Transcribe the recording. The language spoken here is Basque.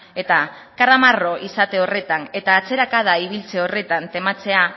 eta karramarro izate horretan eta atzerakada ibiltze horretan tematzea